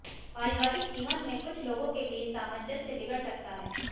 पारिवारिक जीवन में कुछ लोगों के बीच सामंजस्य बिगड़ सकता है